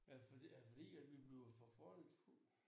Er det er det fordi at vi bliver for fordomsfulde